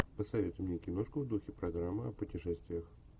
посоветуй мне киношку в духе программы о путешествиях